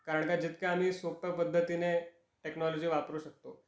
कारण का जितक आह्मी सोप्या पद्धतीने टेकनॉलॉजी वापरू शकतो